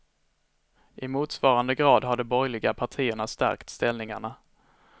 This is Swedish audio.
I motsvarande grad har de borgerliga partierna stärkt ställningarna.